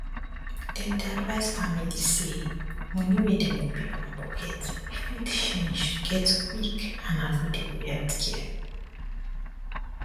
dem dey advise families say money um wey dem go pay from pocket um fit change to get quick and affordable healthcare